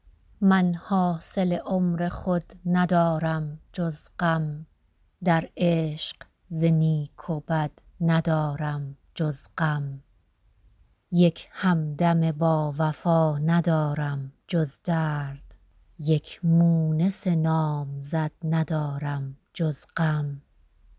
من حاصل عمر خود ندارم جز غم در عشق ز نیک و بد ندارم جز غم یک همدم باوفا ندیدم جز درد یک مونس نامزد ندارم جز غم